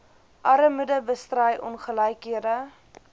armoede bestry ongelykhede